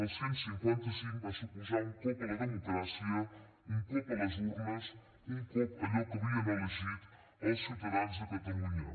el cent i cinquanta cinc va suposar un cop a la democràcia un cop a les urnes un cop allò que havien elegit els ciutadans de catalunya